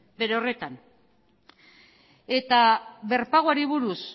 bere horretan eta berpagoari buruz